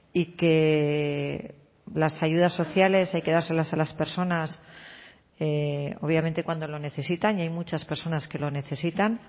y que las ayudas sociales hay que dárselas a las personas obviamente cuando lo necesitan y hay muchas personas que lo necesitan